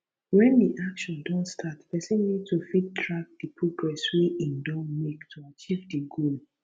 when di action don start person need to fit track di progress wey im don make to achieve di goal